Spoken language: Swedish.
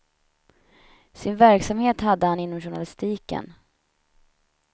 Sin verksamhet hade han inom journalistiken.